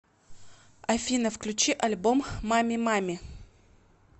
афина включи альбом мамми мамми